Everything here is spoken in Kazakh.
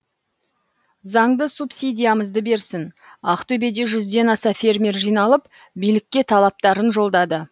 заңды субсидиямызды берсін ақтөбеде жүзден аса фермер жиналып билікке талаптарын жолдады